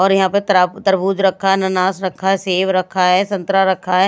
और यहां तराब तरबूज रखा अननास रखा है सेब रखा है संतरा रखा --